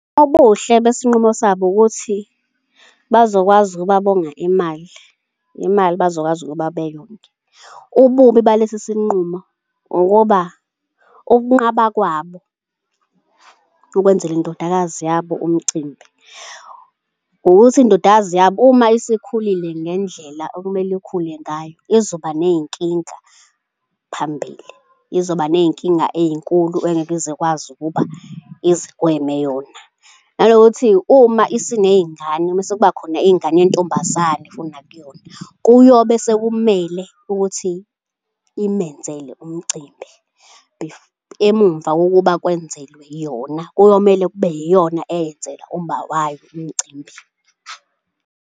Obuhle besinqumo sabo ukuthi bazokwazi ukuba bonga imali, imali bazokwazi ukuba beyonge. Ububi balesisinqumo ukuba ukunqaba kwabo ukwenzele indodakazi yabo umcimbi, ukuthi indodakazi yabo uma isikhulile ngendlela okumele ikhule ngayo izoba ney'nkinga phambili. Izoba ney'nkinga ey'nkulu engeke ize ikwazi ukuba izigweme yona. Nanokuthi uma isiney'ngane uma sekubakhona ingane yentombazane, nakuyona, kuyobe sekumele ukuthi imenzele umcimbi, emuva kokuba kwenzelwa yona, kuyomele kube iyona eyenzela umawayo umcimbi.